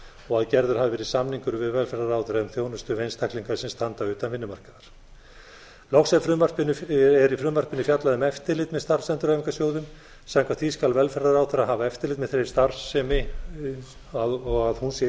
og að gerður hafi verið samningur við velferðarráðherra um þjónustu við einstaklinga sem standa utan vinnumarkaðar loks er í frumvarpinu fjallað um eftirlit með starfsendurhæfingarsjóðum samkvæmt því skal velferðarráðherra hafa eftirlit með þeirri starfsemi og að hún sé í